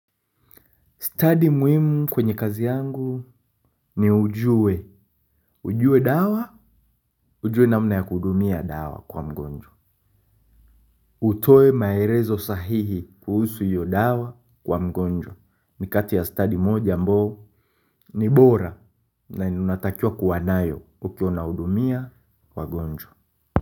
Stadi muhimu kwenye kazi yangu ni ujue. Ujue dawa, ujue namna ya kuhudumia dawa kwa mgojwa. Utoe maelezo sahihi kuhusu iyo dawa kwa mgonjwa. Ni kati ya stadi moja ambao ni bora na unatakiwa kuwa nayo ukiwa unahudumia wagonjwa.